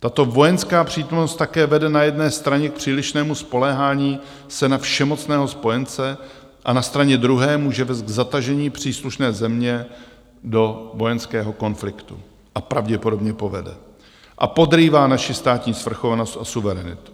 Tato vojenská přítomnost také vede na jedné straně k přílišnému spoléhání se na všemocného spojence a na straně druhé může vést k zatažení příslušné země do vojenského konfliktu, a pravděpodobně povede, a podrývá naši státní svrchovanost a suverenitu.